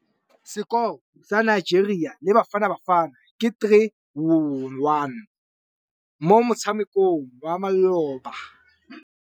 Sekôrô sa Nigeria le Bafanabafana ke 3-1 mo motshamekong wa malôba.